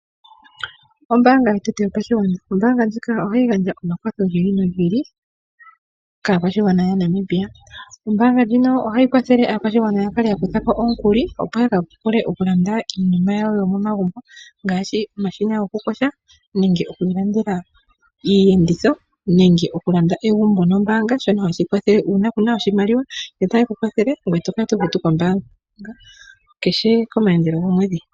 Ombaanga yotango yopashigwana ohayi gandja omakwatho gi ili nogi ili kaakwashigwana yaNamibia. Ombaanga ndjino ohayi kwathele aantu okukutha ko omukuli, opo ya vule okulanda iinima yawo yomomagumbo ngaashi omashina gokuyoya nenge oku ilandela iiyenditho nenge okulanda egumbo nombaanga; shono hashi kwathele uuna kuu na iimaliwa ohaye ku kwathele ngoye to kala to futu kombaanga komayandelo gomwedhi kehe.